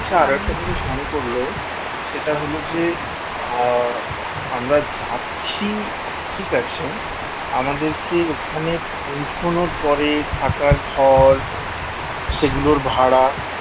আর একটা জিনিস মনে পড়ল সেটা হলো যে আহ আমরা যাচ্ছি ঠিক আছে আমাদের কে ওখানে পৌঁছানোর পরে থাকার ঘর সেগুলোর ভাড়া